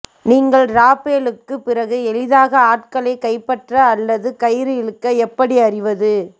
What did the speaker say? நீங்கள் ராப்பேலுக்குப் பிறகு எளிதாக ஆட்களைக் கைப்பற்ற அல்லது கயிறு இழுக்க எப்படி அறிவது